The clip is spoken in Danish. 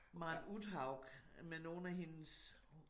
Maren Uthaug med nogle af hendes